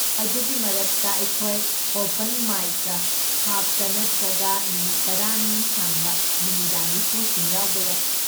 ꯑꯗꯨꯒꯤ ꯃꯔꯛꯇ, ꯑꯩꯈꯣꯏ ꯑꯣꯄꯟ ꯃꯥꯏꯛꯁꯀ ꯍꯥꯞꯇꯅ ꯅꯠꯇ꯭ꯔꯒ ꯅꯨꯃꯤꯠ ꯇꯔꯥꯅꯤ ꯁꯥꯡꯕ ꯅꯨꯃꯤꯗꯥꯡꯒꯤ ꯁꯣꯁꯤꯡ ꯌꯥꯎꯕ ꯌꯥꯏ꯫